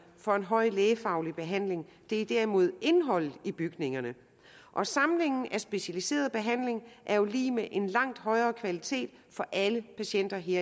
for en høj lægefaglig behandling det er derimod indholdet i bygningerne og samlingen af specialiseret behandling er jo lig med en langt højere kvalitet for alle patienter her